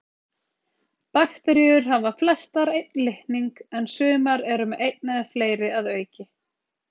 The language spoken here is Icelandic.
Bakteríur hafa flestar einn litning en sumar eru með einn eða fleiri að auki.